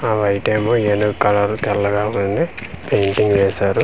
ఆ వైట్ ఏమో ఏనుగు కలర్ తెల్లగ ఉంది పెయింటింగ్ వేశారు.